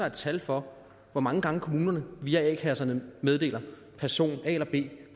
et tal for hvor mange gange kommunerne via a kasserne meddeler at person a eller b